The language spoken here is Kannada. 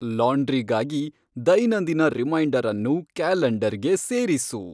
ಲಾಂಡ್ರಿಗಾಗಿ ದೈನಂದಿನ ರಿಮೈಂಡರ್ ಅನ್ನು ಕ್ಯಾಲೆಂಡರ್ ಗೆ ಸೇರಿಸು